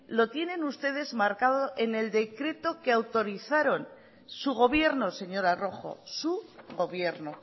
lo tienen ustedes marcado en el decreto que autorizaron su gobierno señora rojo su gobierno